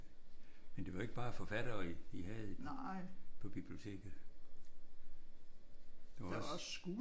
Men det var ikke bare forfattere i havde på biblioteket. Der var også